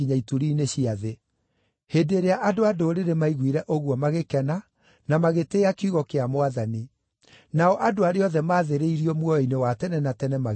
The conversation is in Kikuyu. Hĩndĩ ĩrĩa andũ-a-Ndũrĩrĩ maaiguire ũguo magĩkena na magĩtĩĩa kiugo kĩa Mwathani, nao andũ arĩa othe maathĩrĩirio muoyo-inĩ wa tene na tene magĩĩtĩkia.